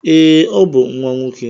Ee, ọ bụ nwa nwoke.